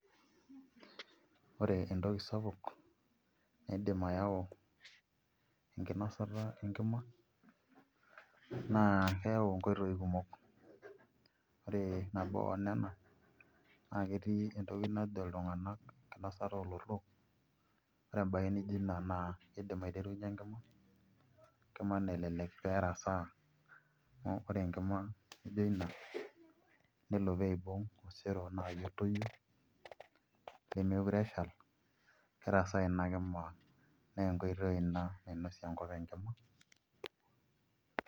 Ore entoki sapuk naidim ayau enkinosata enkima naa keyau nkoitoi kumok ore nabo tenena naa ketii entoki najo iltung'anak enkinosata oolotorok ore embaye nijio ina naa kiidim aiterunyie enkima, enkima nalelek pee erasaa amu ore enkima nijio ina nelo pee iibung' osero naa otoyio nemeekure eshal kerasaa ina kima naa enkoitooi ina nainosie enkop enkima.